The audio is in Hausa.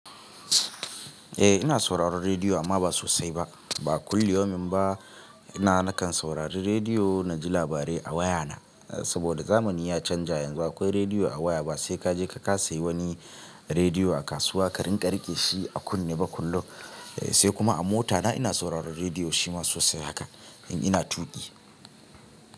Eh ina sauraron rediyo amma ba sosai ba. Ba kulli yaumin ba ina nakan saurari rediyo na ji labarai a wayana. Saboda zamani ya canja yanzu akwai rediyo a waya ba sai kaje ka sayi wani rediyo a kasuwa ka rinƙa riƙe shi a kunne ba kullum. Sai kuma a motana ina sauraron rediyo shi ma sosai haka in ina tuƙi.